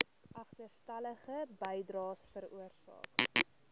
agterstallige bydraes veroorsaak